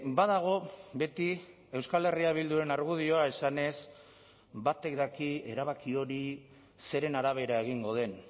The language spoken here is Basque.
badago beti euskal herria bilduren argudioa esanez batek daki erabaki hori zeren arabera egingo den